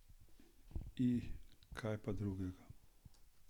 I, kaj pa drugega!